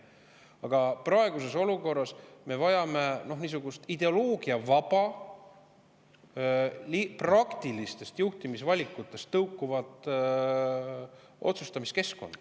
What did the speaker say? Aga praeguses olukorras me vajame ideoloogiavaba, praktilistest juhtimisvalikutest tõukuvat otsustamiskeskkonda.